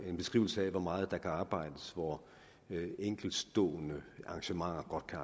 en beskrivelse af hvor meget der kan arbejdes hvor enkeltstående arrangementer godt kan